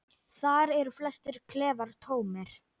Þar eru flestir klefar tómir.